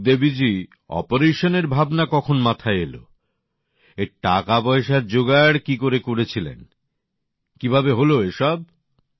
তা সুখদেবীজি অপারেশনের ভাবনা কখন মাথায় এল এর টাকাপয়সার জোগাড় কী করে করেছিলেন কী ভাবে হল এ সব